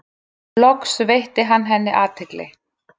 Loks veitti hann henni athygli.